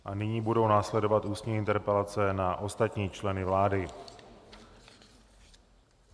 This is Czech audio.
A nyní budou následovat ústní interpelace na ostatní členy vlády.